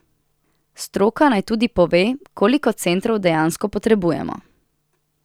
Stroka naj tudi pove, koliko centrov dejansko potrebujemo.